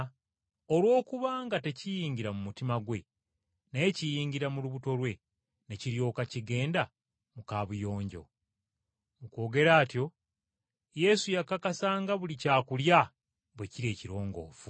Olw’okuba nga tekiyingira mu mutima gwe naye kiyingira mu lubuto lwe ne kiryoka kigenda mu kabuyonjo.” Mu kwogera atyo Yesu yakakasa nga buli kyakulya bwe kiri ekirongoofu.